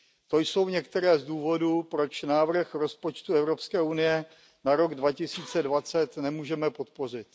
To jsou některé z důvodů, proč návrh rozpočtu Evropské unie na rok 2020 nemůžeme podpořit.